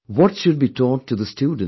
What should be taught to the students